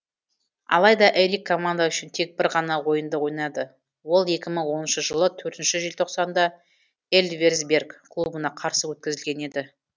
алайда эрик команда үшін тек бір ғана ойынды ойнады ол екі мың оныншы жылы төртінші желтоқсанда эльверсберг клубына қарсы өткізілген еді